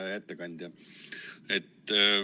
Hea ettekandja!